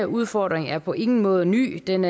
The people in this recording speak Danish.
udfordring er på ingen måde ny den